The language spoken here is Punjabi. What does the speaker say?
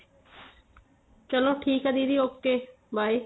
ਚਲੋ ਠੀਕ ਏ ਦੀਦੀ okay by